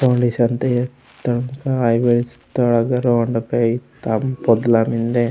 ओंडय शान्ति ईत्तड़मूता आइवेश ता पोदला मेन्दे।